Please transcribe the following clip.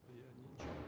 Mən heç nə uydurmadım.